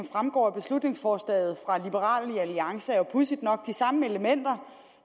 fremgår af beslutningsforslaget fra liberal alliance er jo pudsigt nok de samme elementer